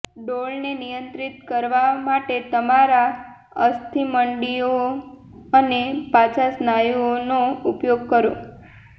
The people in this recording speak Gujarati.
ડોળને નિયંત્રિત કરવા માટે તમારા અસ્થિમંડીઓ અને પાછા સ્નાયુઓનો ઉપયોગ કરો